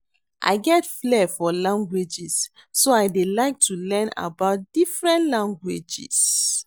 I get flare for languages so I dey like to learn about different languages